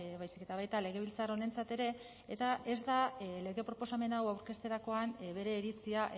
baizik eta baita legebiltzar honentzat ere eta ez da lege proposamen hau aurkezterakoan bere iritzia